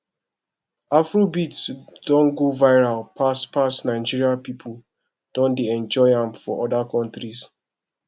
afrobeat don go viral pass pass nigeria pipo don dey enjoy am for oda countries